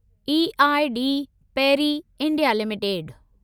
EID Parry India limited